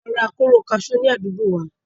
A máa ra kóró kaṣú ni àdúgbòo wa.